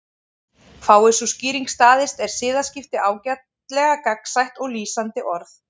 Fái sú skýring staðist er siðaskipti ágætlega gagnsætt og lýsandi orð.